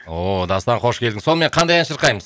дастан қош келдің сонымен қандай ән шырқаймыз